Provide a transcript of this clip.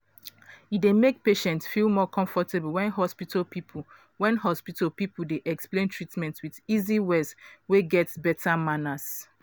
e dey make patient feel more comfortable when hospital people when hospital people dey explain treatment with easy words wey get beta manners.